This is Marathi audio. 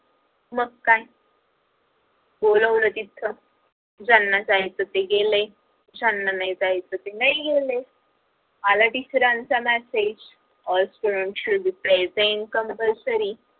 मग काय बोलावल तिथ ज्यांना जायचं ते गेले ज्यांना नाही जायचं ते नाही गेले आला सरांचा message all student should be present compulsory